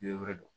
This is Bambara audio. Yiri wɛrɛ don